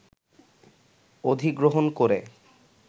অধিগ্রহণ করে